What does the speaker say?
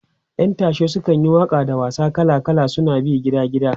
ƴan tashe sukan yi Waka da wasa kala kala suna bin gida gida